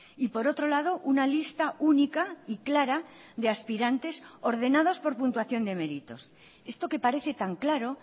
y por otro lado una lista única y clara de aspirantes ordenados por puntuación de meritos esto que parece tan claro